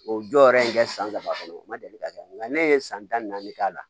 O jɔyɔrɔ in kɛ san saba kɔnɔ o ma deli ka kɛ nka ne ye san tan naani k'a la